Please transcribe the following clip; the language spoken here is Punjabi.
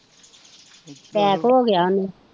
ਟੈਕ ਹੋਗਿਆ ਉਹਨੂੰ